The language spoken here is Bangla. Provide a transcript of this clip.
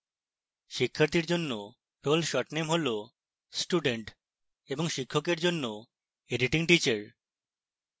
শিক্ষার্থীর জন্য role short name হল student এবং শিক্ষকের জন্য editingteacher